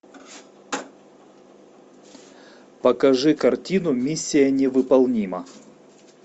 покажи картину миссия невыполнима